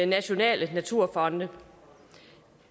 nationale naturfonde